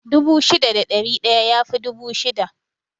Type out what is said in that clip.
Dubu shida da ɗari ɗaya yafi dubu shida